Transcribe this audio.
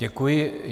Děkuji.